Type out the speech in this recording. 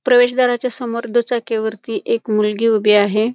प्रवेश दाराच्या समोर दुचाकी वरती एक मुलगी उभी आहे.